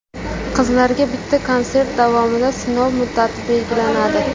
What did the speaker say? Qizlarga bitta konsert davomida sinov muddati belgilanadi.